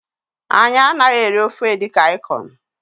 Anyị anaghị eri ofe edikang ikong